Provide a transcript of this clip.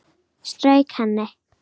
Strauk henni.